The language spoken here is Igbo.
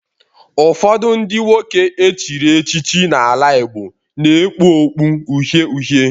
Ụfọdụ ndị nwoke echiri echichi n'ala Igbo na-ekpu okpu uhie uhie